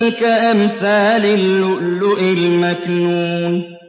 كَأَمْثَالِ اللُّؤْلُؤِ الْمَكْنُونِ